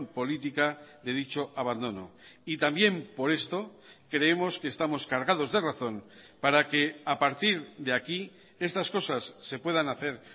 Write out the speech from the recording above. política de dicho abandono y también por esto creemos que estamos cargados de razón para que a partir de aquí estas cosas se puedan hacer